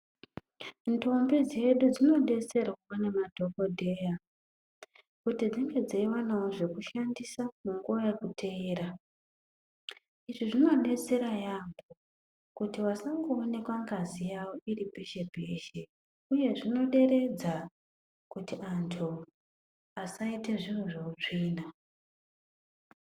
Ndombi dzedu dzinodetserwa nemadhokodheya kuti dzinge dzeiwanawo zvekushandisa munguwa yekuteera, izvi zvinodetsera yaamho kuti vasangoonekwa ngazi yawo iri peshe peshe uye zvinoderedza kuti antu asaita zviro zveutsvina.